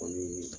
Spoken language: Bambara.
Kɔni